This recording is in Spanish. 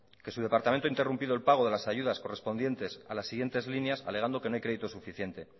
que su departamento ha interrumpido el pago de las ayudas correspondientes a las siguientes líneas alegando que no hay crédito suficiente